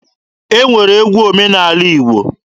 E nwere egwu omenaala Igbo